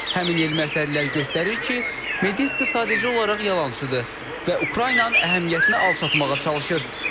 Həmin elmi əsərlər göstərir ki, Medinski sadəcə olaraq yalançıdır və Ukraynanın əhəmiyyətini alçatmağa çalışır.